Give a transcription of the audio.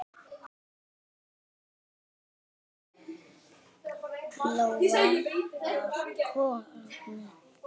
Lóa var góð kona.